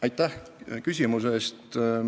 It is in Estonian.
Aitäh küsimuse eest!